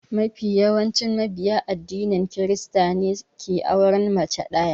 Mafi yawancin mabiya addinin krista ne suke auren mace ɗaya.